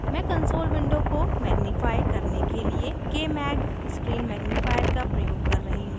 मैं console window को magnify करने के लिए kmag screen magnifier का प्रयोग कर रही हूँ